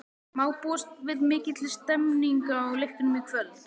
Má búast við mikilli stemningu á leiknum í kvöld?